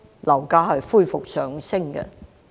樓價恢復上升。